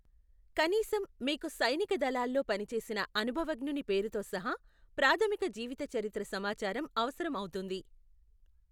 కనీసం, మీకు సైనిక దళాల్లో పనిచేసిన అనుభవజ్ఞుని పేరుతో సహా ప్రాథమిక జీవితచరిత్ర సమాచారం అవసరం అవుతుంది.